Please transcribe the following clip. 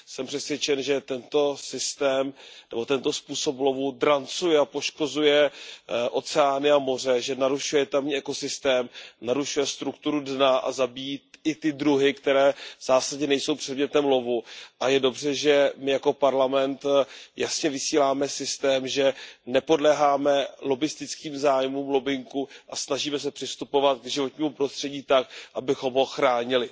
Jsem přesvědčen, že tento systém nebo tento způsob lovu drancuje a poškozuje oceány a moře, že narušuje tamní ekosystém, narušuje strukturu dna a zabíjí i ty druhy, které v zásadě nejsou předmětem lovu, a je dobře, že my jako Parlament jasně vysíláme signál, že nepodléháme lobbistickým zájmům, lobbingu a snažíme se přistupovat k životnímu prostředí tak, abychom ho chránili.